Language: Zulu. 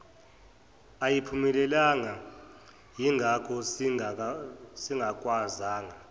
ayiphumelelanga yingakho singakwazanga